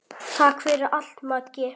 Takk fyrir allt, Maggi.